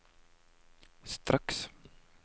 straks